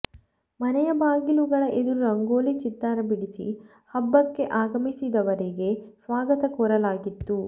ಮನೆಯ ಬಾಗಿಲುಗಳ ಎದುರು ರಂಗೋಲಿ ಚಿತ್ತಾರ ಬಿಡಿಸಿ ಹಬ್ಬಕ್ಕೆ ಆಗಮಿಸಿದವರಿಗೆ ಸ್ವಾಗತ ಕೋರಲಾಗಿತ್ತು